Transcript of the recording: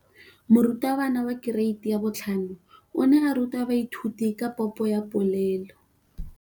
Moratabana wa kereiti ya 5 o ne a ruta baithuti ka popô ya polelô.